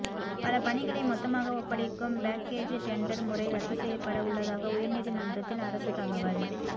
பல பணிகளை மொத்தமாக ஒப்படைக்கும் பேக்கேஜ் டெண்டர் முறை ரத்து செய்யப்பட உள்ளதாக உயர்நீதிமன்றத்தில் அரசு தகவல்